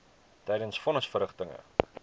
tydens von nisverrigtinge